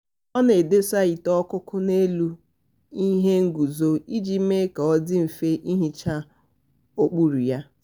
ọ na-adọsa ite okoko n'elu ihe nguzo iji mee ka ọ dị mfe ihicha okpuru ya.